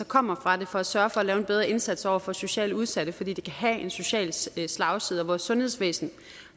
kommer fra det for at sørge for at lave en bedre indsats over for socialt udsatte fordi det kan have en social slagside og vores sundhedsvæsen